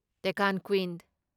Deccan queen